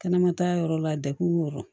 Kɛnɛmata yɔrɔ la degun b'o yɔrɔ